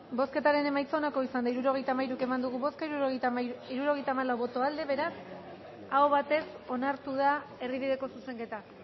bozketaren emaitza onako izan da hirurogeita hamalau eman dugu bozka hirurogeita hamalau boto aldekoa beraz aho batez onartu da erdibideko zuzenketa